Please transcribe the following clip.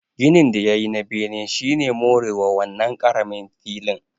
Ginin da ya yi na bene shi ne more wa wannan ƙaramin filin